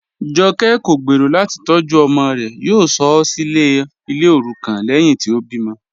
Jọ̀kẹ̀ kọ̀ gbẹ́rọ̀ láti tọ̀jú ọmọ rẹ̀, yóò sọ̀ ọ́ silẹ̀ ní ilẹ̀ orúkọ̀n lẹ́hìn tí o bí mọ̀.